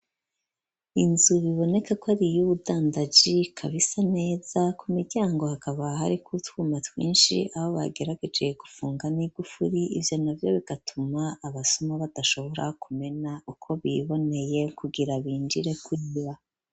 Inzu biboneka ko ari yubudandaji ikaba isa neza ku miryango hakaba hari ku twuma twishi aho bageragejeje gufunga n'igufuri ivyo navyo bigatuma abasuma badashobora ku mena uko biboneye kugira binjire kwiriba.